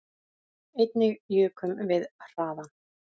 Einnig jukum við hraðann